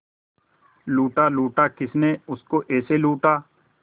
लूटा लूटा किसने उसको ऐसे लूटा